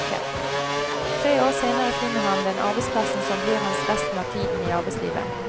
Tre år senere finner han den arbeidsplassen som blir hans resten av tiden i arbeidslivet.